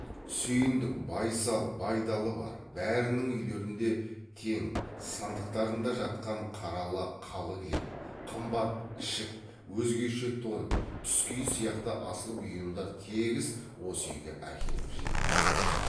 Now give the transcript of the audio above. сүйіндік байсал байдалы бар бәрінің үйлерінде тең сандықтарында жатқан қаралы қалы кілем қымбат ішік өзгеше тон тұскиіз сияқты асыл бұйымдар тегіс осы үйге әкеліп жиылмақ